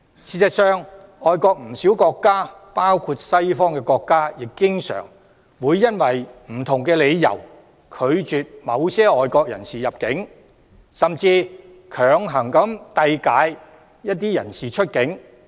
事實上，不少外國國家，包括西方國家，經常會因不同理由而拒絕某些外國人士入境，甚至強行遞解一些人士出境。